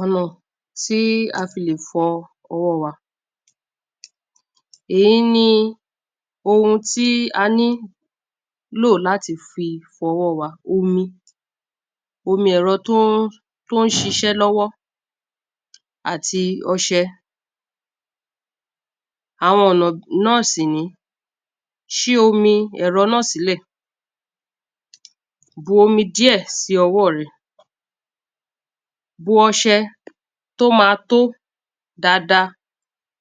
ọ̀nà tí a fi lè fọ ọwọ́ wa èyí ni ohun tí a nílò láti fọwọ́ wa, omi omi ẹ̀rọ tó ń ṣiṣẹ́ lọ́wọ́ àti ọṣẹ àwọn ọ̀nà náà sì ni ṣí omi ẹ̀rọ náà sílẹ̀ bu omi díẹ̀ sí ọwọ́ rẹ bu ọṣẹ tó ma tó dáadáa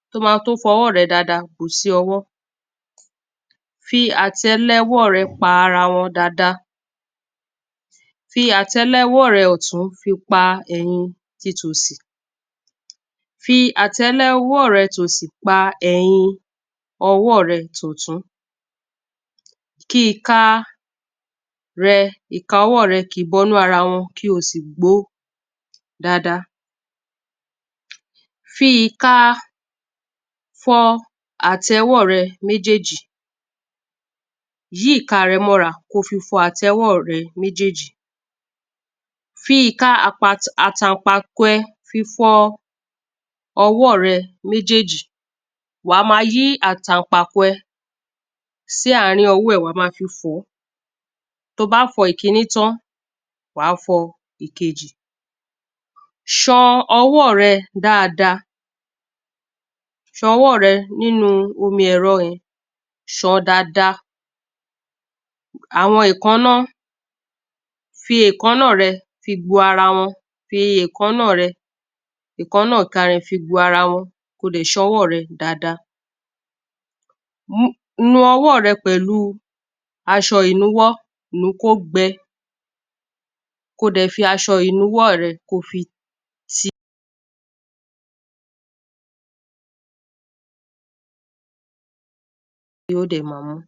tó máa tó fọwọ́ rẹ dáadáa bùú sí ọwọ́ fí àtẹlẹwọ́ rẹ pa ara wọn dáadáa fi àtẹlẹwọ́ rẹ ọ̀tún fi pa tòsì fi àtẹlẹwọ́ rẹ tòsì pá ti ọwọ́ rẹ tọ̀tún ki ìka rẹ kí ìka ọwọ́ rẹ kìí bọ inú ara wọn kí o sì gboó dáadáa fi ìka fọ àtẹwọ́ rẹ méjèèjì yí ìka rẹ mọ́ra ko fi fọ àtẹwọ́ rẹ méjèèjì fi ìka àtànpàkò ẹ fi fọ ọwọ́ rẹ méjèèjì wàá máa yí àtànpàkò sí àárín ọwọ́ rẹ wàá máa fi fọ̀ọ́ to bá fọ ìkíní tán wàá fọ ìkejì san ọwọ́ rẹ dáadáa san ọwọ́ rẹ nínu omi ẹ̀rọ ẹ sàn án dáadáa àwọn èkáná, fi èkáná rẹ fi gbo ara wọn fi èkáná rẹ èkáná ìka rẹ fi gbo ara wọn ko dẹ̀ san ọwọ́ rẹ dáadáa nu owọ́ rẹ pẹ̀lú aṣọ ìnuwọ́, nùú kó gbẹ ko dẹ̀ fi aṣọ ìnuwọ́ rẹ ti